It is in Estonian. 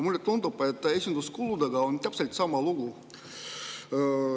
" Mulle tundub, et esinduskuludega on täpselt sama lugu.